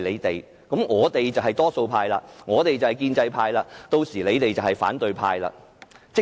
這樣我們就是多數派、建制派，而他們就是反對派。